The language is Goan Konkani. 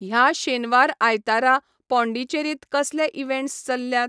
ह्या शेनवार आयतारा पॉडींचेरींत कसले इवँट्स चल्ल्यात?